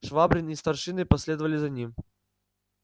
швабрин и старшины последовали за ним